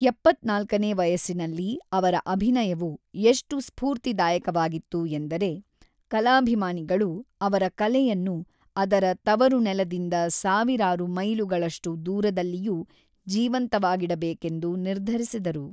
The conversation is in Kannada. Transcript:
ಎಪ್ಪತ್ತ್ನಾಲ್ಕನೇ ವಯಸ್ಸಿನಲ್ಲಿ ಅವರ ಅಭಿನಯವು ಎಷ್ಟು ಸ್ಫೂರ್ತಿದಾಯಕವಾಗಿತ್ತು ಎಂದರೆ ಕಲಾಭಿಮಾನಿಗಳು ಅವರ ಕಲೆಯನ್ನು ಅದರ ತವರುನೆಲದಿಂದ ಸಾವಿರಾರು ಮೈಲುಗಳಷ್ಟು ದೂರದಲ್ಲಿಯೂ ಜೀವಂತವಾಗಿಡಬೇಕೆಂದು ನಿರ್ಧರಿಸಿದರು.